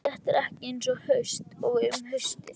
Þetta er ekki eins haust og um haustið.